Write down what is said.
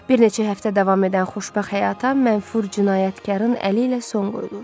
Bir neçə həftə davam edən xoşbəxt həyata mənfur cinayətkarın əli ilə son qoyulur.